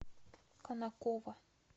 конаково